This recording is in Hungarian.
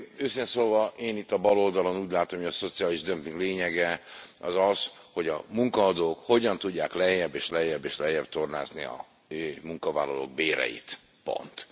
Őszintén szólva én itt a baloldalon úgy látom, hogy a szociális dömping lényege az, hogy a munkaadók hogyan tudják lejjebb és lejjebb és lejjebb tornászni a munkavállalók béreit, pont.